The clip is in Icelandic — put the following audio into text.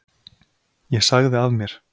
Ég sagði af mér.